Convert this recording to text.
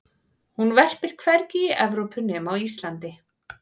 hún verpir hvergi í evrópu nema á íslandi